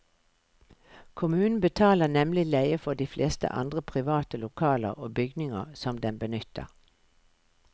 Kommunen betaler nemlig leie for de fleste andre private lokaler og bygninger som den benytter.